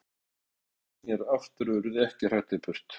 Hvítklæddu mennirnir sneru aftur og urðu ekki hraktir burt.